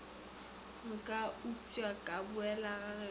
nka upša ka boela gagešo